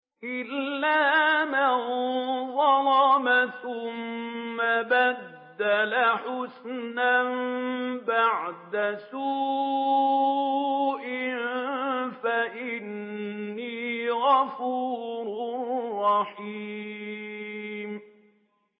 إِلَّا مَن ظَلَمَ ثُمَّ بَدَّلَ حُسْنًا بَعْدَ سُوءٍ فَإِنِّي غَفُورٌ رَّحِيمٌ